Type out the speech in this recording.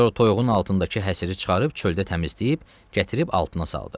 Sonra toyuğun altındakı həsirini çıxarıb çöldə təmizləyib, gətirib altına saldı.